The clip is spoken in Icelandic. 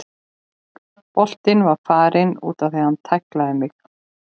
Boltinn var farinn útaf og hann tæklaði mig.